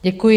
Děkuji.